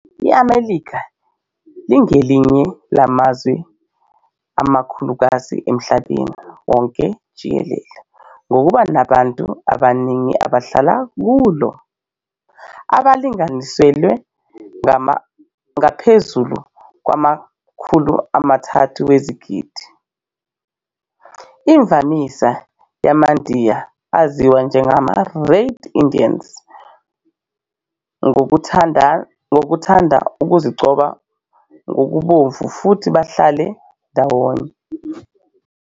IMelika ingelinye lamazwe amakhulukazi emhlabeni wonke jikelele ngokuba nabantu abaningi abahlala kulo, abalinganiselwa ngaphezulu kwamakhulu amathathu wezigidi. Imvamisa yamandiya aziwa njengama "Red Indians" ngokuthanda ukuzigcoba ngokubomvu futhi bahlale ndawonye.